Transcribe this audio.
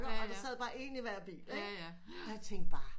Og der sad bare en i hver bil og jeg tænkte bare